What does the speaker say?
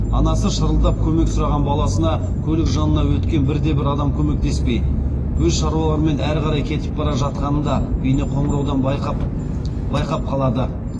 анасы шырылдап көмек сұраған баласына көлік жанынан өткен бірде бір адам көмектеспей өз шаруаларымен әрі қарай кетіп бара жатқанын да бейнеқоңыраудан байқап қалады